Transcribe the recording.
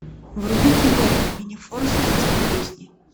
вруби киноху минифорс детские песни